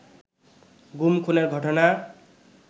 গুম-খুনের ঘটনা